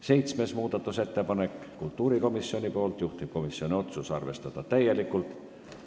Seitsmes muudatusettepanek on kultuurikomisjonilt, juhtivkomisjoni otsus on arvestada täielikult.